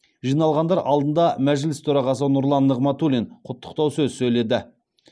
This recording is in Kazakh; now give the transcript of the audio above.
жиналғандар алдында мәжіліс төрағасы нұрлан нығматулин құттықтау сөз сөйледі